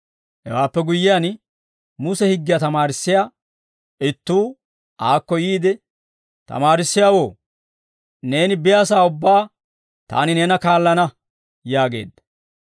Hewaappe guyyiyaan Muse higgiyaa tamaarissiyaa ittuu aakko yiide, «Tamaarissiyaawoo, neeni biyaasaa ubbaa taani neena kaallana» yaageedda.